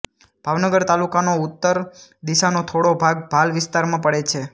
ભાવનગર તાલુકાનો ઉત્તર દિશાનો થોડો ભાગ ભાલ વિસ્તારમાં પડે છે